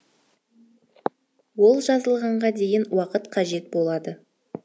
ол жазылғанға дейін уақыт қажет болады